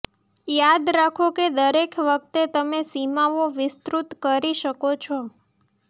યાદ રાખો કે દરેક વખતે તમે સીમાઓ વિસ્તૃત કરી શકો છો